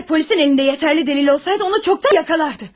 Əgər polisin əlində yetərli dəlil olsaydı, onu çoxdan yakalardı.